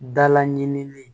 Dala ɲini